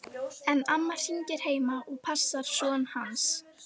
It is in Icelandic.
En amma hangir heima og passar son hans.